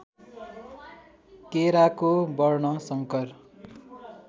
केराको वर्णशंकर